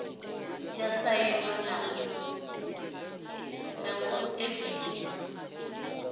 ya sainwa na u ṱempiwa